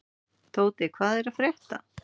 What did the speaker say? Tóti, hvað er að frétta?